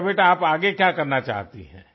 अच्छा बेटा आप आगे क्या करना चाहती हैं